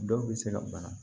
Dɔw bɛ se ka bana